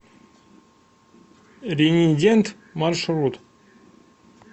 ренидент маршрут